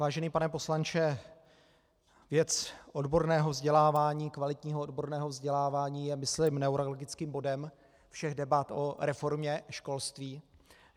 Vážený pane poslanče, věc odborného vzdělávání, kvalitního odborného vzdělávání, je myslím neuralgickým bodem všech debat o reformě školství.